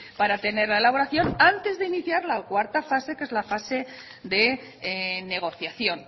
para tener la elaboración antes de iniciar la cuarta fase que es la fase de negociación